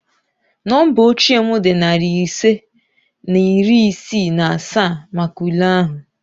Nọmba oche m dị narị ise na iri isii na asaa maka ule ahụ